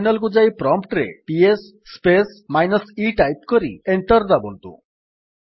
terminal କୁ ଯାଇ prompt ରେ PS space minus e type କରି ଏଣ୍ଟର୍ ଦାବନ୍ତୁ